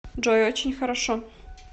джой очень хорошо